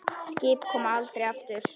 Skip koma aldrei aftur.